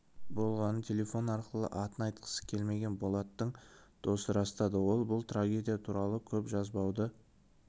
болғанын телефон арқылы атын айтқысы келмеген болаттың досы растады ол бұл трагедия туралы көп жазбауды